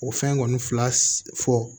O fɛn kɔni fila fɔ